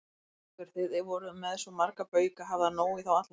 Haukur: Þið voruð með svo marga bauka, hafði hann nóg í þá alla?